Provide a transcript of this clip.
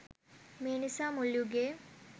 මේ නිසා මුල් යුගයේ